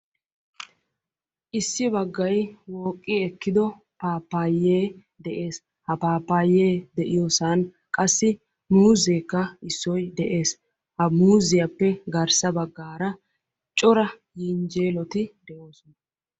issi bagay wogido paapaye deessi ha paapaye de"iyossani muuzekka deesi hagappe garssara qassi yinjeeloykka deessi.